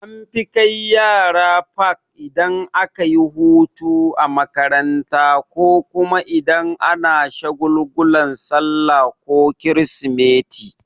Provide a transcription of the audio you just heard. An fi kai yara fak idan akayi hutu a makaranta ko kuma idan ana shagulgulan sallah ko krismeti.